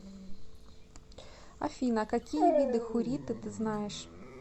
афина какие виды хурриты ты знаешь